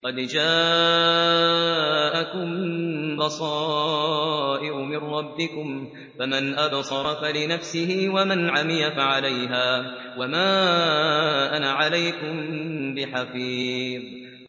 قَدْ جَاءَكُم بَصَائِرُ مِن رَّبِّكُمْ ۖ فَمَنْ أَبْصَرَ فَلِنَفْسِهِ ۖ وَمَنْ عَمِيَ فَعَلَيْهَا ۚ وَمَا أَنَا عَلَيْكُم بِحَفِيظٍ